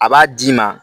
A b'a d'i ma